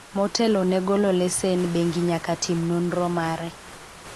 motelo ne golo lesen bengi nyaka tim nonro mare